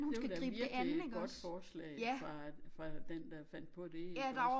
Det var da virkelig et godt forslag fra fra den der fandt på dét iggås